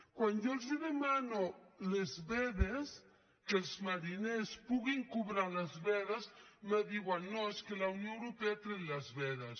quan jo els demano les vedes que els mariners puguin cobrar les vedes em diuen no és que la unió europea ha tret les vedes